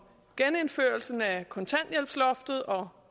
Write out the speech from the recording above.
genindførelsen af kontanthjælpsloftet og